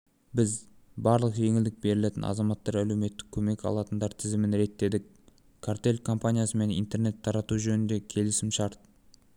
біз барлық жеңілдік берілетін азаматтар әлеуметтік көмек алатындар тізімін реттедік картел компаниясымен интернет тарату жөнінде келісімшарт